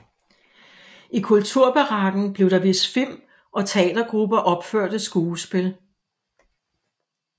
I kulturbarakken blev der vist film og teatergrupper opførte skuespil